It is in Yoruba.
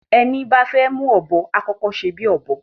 Ẹní bá fẹ́ mú Ọ̀bọ́, á kọ́kọ́ sèbí Ọ̀bọ́